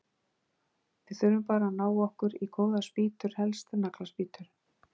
Við þurfum bara að ná okkur í góðar spýtur, helst nagla- spýtur!